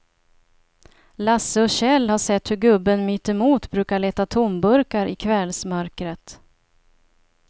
Lasse och Kjell har sett hur gubben mittemot brukar leta tomburkar i kvällsmörkret.